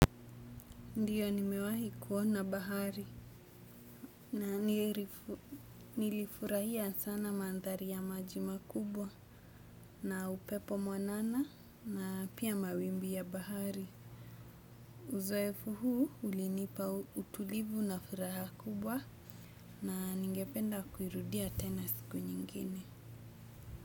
Ndiyo nimewahi kuona bahari na nilifurahia sana mandhari ya maji makubwa na upepo mwanana na pia mawimbi ya bahari. Uzoefu huu ulinipa utulivu na furaha kubwa na ningependa kuirudia tena siku nyingine.